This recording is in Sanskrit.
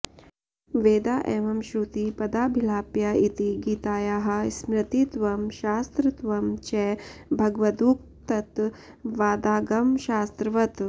वेदा एव श्रुति पदाभिलाप्या इति गीतायाः स्मृतित्वं शास्त्रत्वं च भगवदुक्तत्वादागमशास्त्रवत्